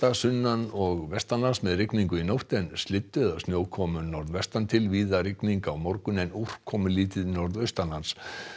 sunnan og vestanlands með rigningu í nótt en slyddu eða snjókomu norðvestan til víða rigning á morgun en úrkomulítið norðaustanlands